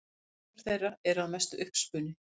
Persónur þeirra eru að mestu uppspuni.